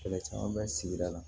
Kɛlɛ caman bɛ sigida la